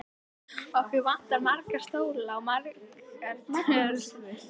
Okkur vantar marga stóla og margar tölvur.